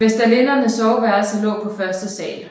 Vestalindernes soveværelser lå på første sal